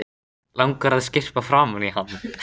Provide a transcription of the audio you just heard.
Langar að skyrpa framan í hann.